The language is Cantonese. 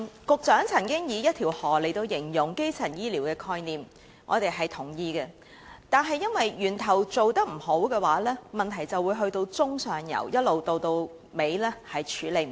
局長曾經以"一條河"來形容基層醫療的概念，我們表示認同，因為若源頭的工作做得不好，問題便會一直在中上游累積，無法處理。